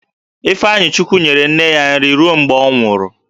Ifeanyichukwu nyere nne ya nri ruo mgbe ọ nwụrụ